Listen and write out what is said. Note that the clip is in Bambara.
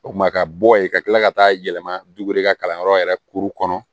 O kuma ka bɔ yen ka kila ka taa yɛlɛma ka kalanyɔrɔ yɛrɛ kuru kɔnɔ